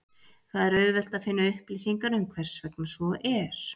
Það er auðvelt að finna upplýsingar um hversvegna svo er.